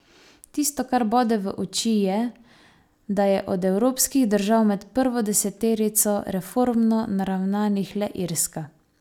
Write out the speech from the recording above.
Tisto, kar bode v oči je, da je od evropskih držav med prvo deseterico reformno naravnanih le Irska.